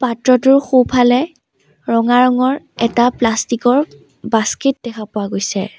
পাত্ৰটোৰ সোঁফালে ৰঙা ৰঙৰ এটা প্লাষ্টিক ৰ বাস্কেট দেখা পোৱা গৈছে।